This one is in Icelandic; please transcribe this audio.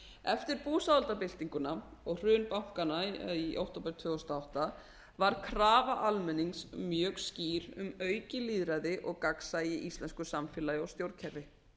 eftir búsáhaldabyltinguna og hrun bankanna í október tvö þúsund og átta var krafa almennings mjög skýr um aukið lýðræði og gagnsæi í íslensku samfélagi og stjórnkerfi